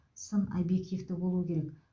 сын объективті болуы керек